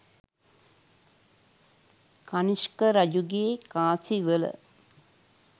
කණිෂ්ක රජුගේ කාසිවල